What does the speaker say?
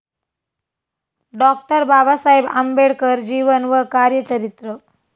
doctor Babasaheb Ambedkar जीवन व कार्य चरित्र